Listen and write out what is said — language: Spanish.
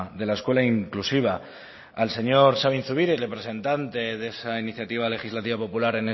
de la escuela inclusiva al señor sabin zubiri presentante de esa iniciativa legislativa popular